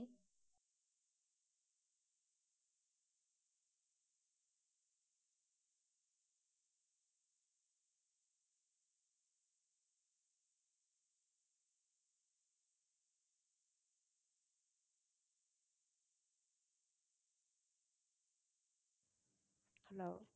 hello